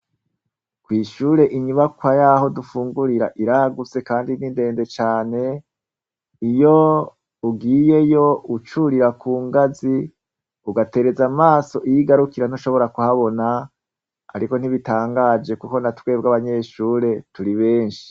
Kw'ishure, inyubakwa y'aho dufungurira , iragutse kandi ni ndende cane . Iyo ugiyeyo ucurira ku ngazi, ugatereza amaso iyo igarukira, ntushobora kuhabona. Ariko ntibitangaje, kuko na twebwe abanyeshure turi benshi.